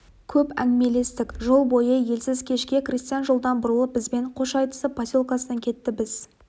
көп әңгімелестік жол бойы елсіз кешке крестьян жолдан бұрылып бізбен қош айтысып поселкесіне кетті біз